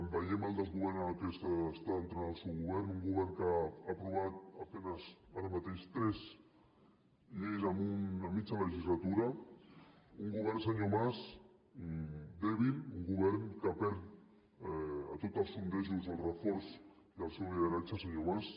veiem el desgovern en què està entrant al seu govern un govern que ha aprovat a penes ara mateix tres lleis en mitja legislatura un govern senyor mas dèbil un govern que perd a tots els sondejos el reforç i el seu lideratge senyor mas